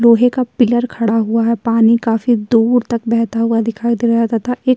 लोहे का पिलर खड़ा हुआ हैं। पानी काफी दूर तक बहता हुआ दिखाई दे रहा है तथा एक --